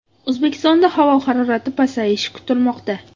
O‘zbekistonda havo harorati pasayishi kutilmoqda.